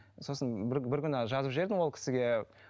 сосын бір бір күні жазып жібердім ол кісіге